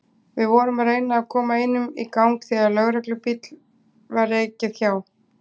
Við vorum að reyna að koma einum í gang þegar lögreglubíl var ekið hjá.